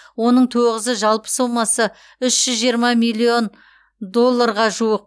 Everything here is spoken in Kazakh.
оның тоғызы жалпы сомасы үш жүз жиырма миллион долларға жуық